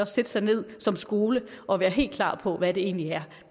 sætte sig ned som skole og være helt klar på hvad det egentlig er